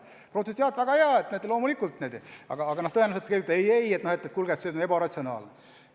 Jah, väga hea, loomulikult, aga tõenäoliselt öeldakse: ei-ei, kuulge, see on ju ebaratsionaalne.